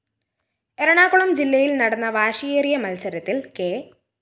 എറണാകുളം ജില്ലയില്‍ നടന്ന വാശിയേറിയ മത്സരത്തില്‍ കെ